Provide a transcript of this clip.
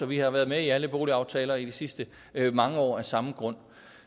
vi har været med i alle boligaftaler i de sidste mange år af samme grund